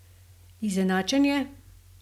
Izenačenje?